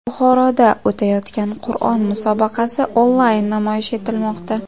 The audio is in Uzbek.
Buxoroda o‘tayotgan Qur’on musobaqasi onlayn namoyish etilmoqda.